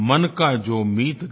मन का जो मीत गया